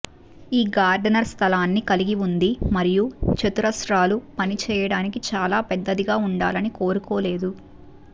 ఈ గార్డెనర్ స్థలాన్ని కలిగి ఉంది మరియు చతురస్రాలు పని చేయడానికి చాలా పెద్దదిగా ఉండాలని కోరుకోలేదు